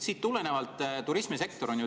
Siit tulenevalt.